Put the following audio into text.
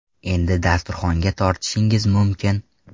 Endi dasturxonga tortishingiz mumkin.